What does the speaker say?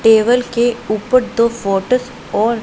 table के ऊपर दो फोटो और--